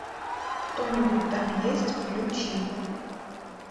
кто нибудь там есть включи